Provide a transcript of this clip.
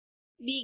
begin